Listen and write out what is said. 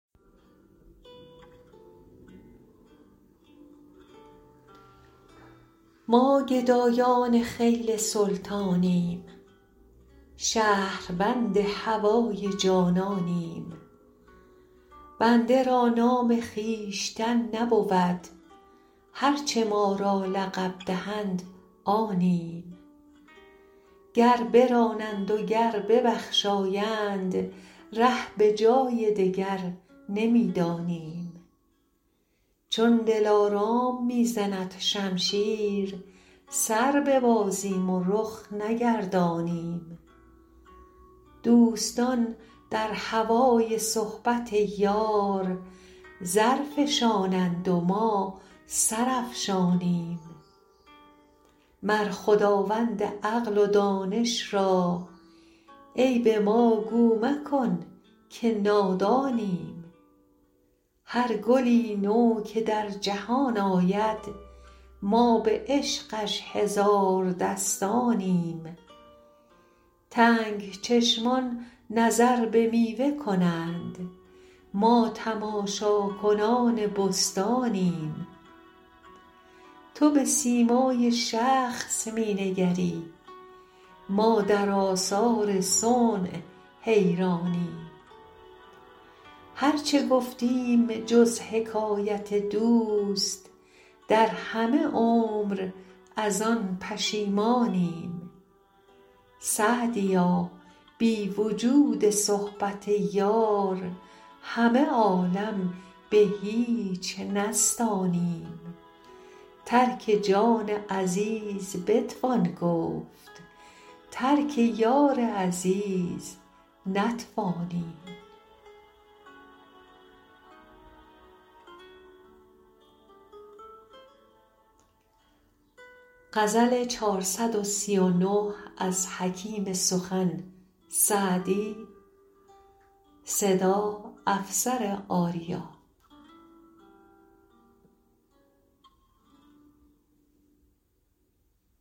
ما گدایان خیل سلطانیم شهربند هوای جانانیم بنده را نام خویشتن نبود هر چه ما را لقب دهند آنیم گر برانند و گر ببخشایند ره به جای دگر نمی دانیم چون دلارام می زند شمشیر سر ببازیم و رخ نگردانیم دوستان در هوای صحبت یار زر فشانند و ما سر افشانیم مر خداوند عقل و دانش را عیب ما گو مکن که نادانیم هر گلی نو که در جهان آید ما به عشقش هزار دستانیم تنگ چشمان نظر به میوه کنند ما تماشاکنان بستانیم تو به سیمای شخص می نگری ما در آثار صنع حیرانیم هر چه گفتیم جز حکایت دوست در همه عمر از آن پشیمانیم سعدیا بی وجود صحبت یار همه عالم به هیچ نستانیم ترک جان عزیز بتوان گفت ترک یار عزیز نتوانیم